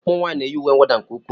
Ụmụnwaanyị na-eyi uwe mwụda nke ukwuu